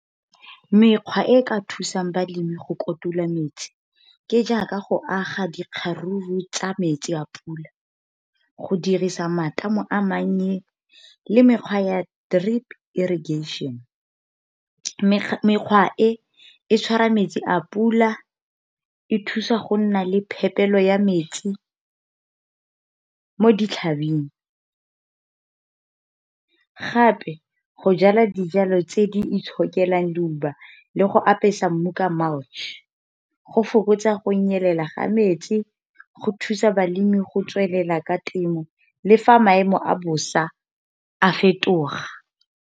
Mekgwa e e ka thusang balemi go kotula metsi, ke jaaka go aga dikgaruru tsa metsi a pula, go dirisa matamo a mannye le mekgwa ya drip irrigation. Mekgwa e, e tshwara metsi a pula, e thusa go nna le phepelo ya metsi mo ditlhabing. Gape go jala dijalo tse, di itshokelang leuba le go apesa mmu ka mulch. Go fokotsa go nyelela ga metsi, go thusa balemi go tswelela ka temo, le fa maemo a bosa a fetoga.